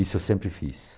Isso eu sempre fiz.